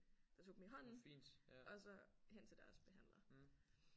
Der tog dem i hånden og så hen til deres behandler